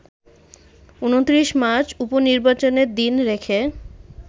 ২৯ March উপ-নির্বাচনের দিন রেখে